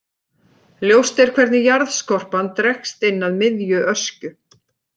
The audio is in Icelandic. Ljóst er hvernig jarðskorpan dregst inn að miðju Öskju.